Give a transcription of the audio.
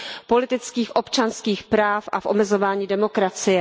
politických a občanských práv a v omezování demokracie.